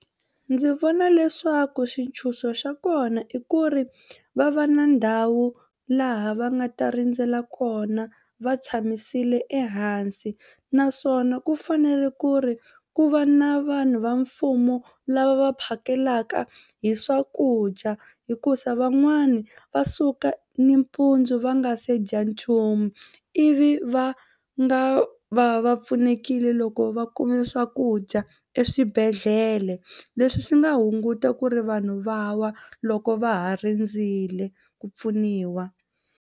Ndzi vona leswaku xitshunxo xa kona i ku ri va va na ndhawu laha va nga ta rindzela kona va tshamisile ehansi naswona ku fanele ku ri ku va na vanhu va mfumo lava va phakelaka hi swakudya hikuza van'wani va suka nimpundzu va nga se dya nchumu ivi va nga va va pfunekile loko va kume swakudya eswibedhlele leswi swi nga hunguta ku ri vanhu va wa loko va ha rindzile ku pfuniwa.